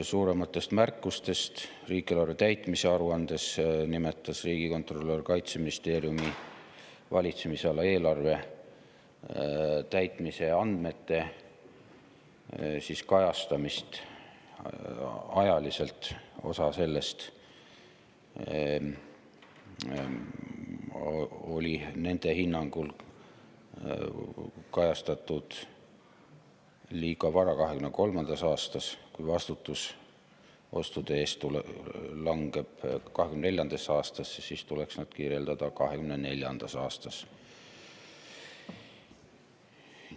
Suurematest märkustest riigieelarve täitmise aruande kohta nimetas riigikontrolör Kaitseministeeriumi valitsemisala eelarve täitmise andmete kajastamist ajaliselt, osa sellest oli nende hinnangul kajastatud liiga vara, 2023. aasta, sest kui vastutus ostude eest langeb 2024. aastasse, siis tuleks neid kirjendada 2024. aasta.